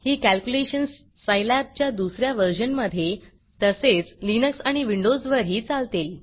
ही calculations Scilab च्या दुस या वर्जन मधे तसेच लिनक्स आणि विंडोज वरही चालतील